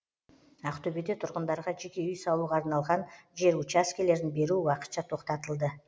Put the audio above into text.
ақтөбеде тұрғындарға жеке үй салуға арналған жер учаскелерін беру уақытша тоқтатылды